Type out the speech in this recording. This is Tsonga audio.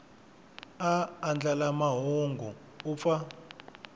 a andlala mahungu u pfa